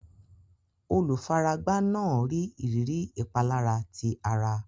Olùfaragbá náà ní ìrírí ìpalára ti ara.